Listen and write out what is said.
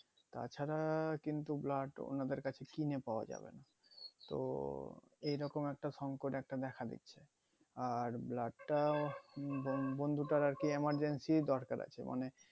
তাছাড়া কিন্তু blood ওনাদের কাছে কিনে পাওয়া যায়না তো এইরকম একটা সংকট একটা দেখা দিচ্ছে আর blood টাও বোন বন্ধুটার আরকি emergency দরকার আছে মানে